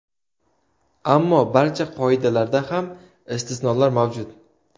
Ammo barcha qoidalarda ham istisnolar mavjud.